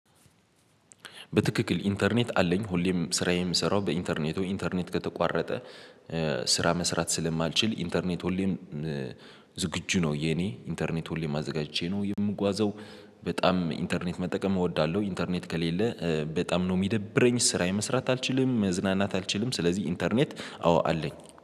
በትክክል ኢንተርኔት አለኝ ሁሌም ስራዬን የምሰራው በኢንተርኔቱ ኢንተርኔት ከተቋረጠ ስራ መስራት ስለማልችል ኢንተርኔት ሁሌም ዝግጁ ነው። የኔ ኢንተርኔት ሁሌም አዘጋጅቼ ነው የምጓዘው። በጣም ኢንተርኔት መጠቀም እወዳለሁ። ኢንተርኔት ከሌለ በጣም ነው የሚደብረኝ ስራ መስራት አልችልም መዝናናት አልችልም። ስለዚህ ኢንተርኔት አዎ አለኝ